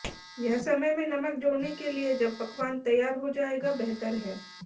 यह समय में नमक जोड़ने के लिए जब पकवान तैयार हो जाएगा बेहतर है